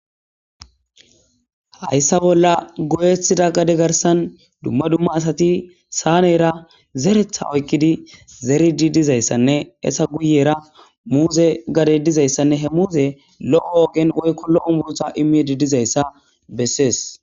Haysa bolla goyetida gade garsan dumma dumma asati saanera zeretha oykidi zeridi dizaysanne eeta guyera muuze gadey dizaysanne he muuzey lo'o giin woyko lo'o muuze immidi dizaysa bessees.